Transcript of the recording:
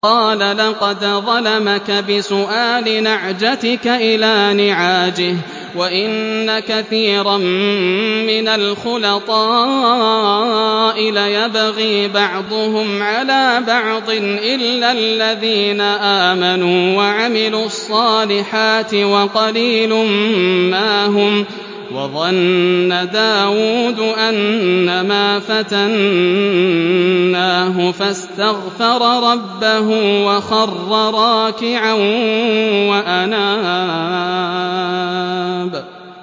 قَالَ لَقَدْ ظَلَمَكَ بِسُؤَالِ نَعْجَتِكَ إِلَىٰ نِعَاجِهِ ۖ وَإِنَّ كَثِيرًا مِّنَ الْخُلَطَاءِ لَيَبْغِي بَعْضُهُمْ عَلَىٰ بَعْضٍ إِلَّا الَّذِينَ آمَنُوا وَعَمِلُوا الصَّالِحَاتِ وَقَلِيلٌ مَّا هُمْ ۗ وَظَنَّ دَاوُودُ أَنَّمَا فَتَنَّاهُ فَاسْتَغْفَرَ رَبَّهُ وَخَرَّ رَاكِعًا وَأَنَابَ ۩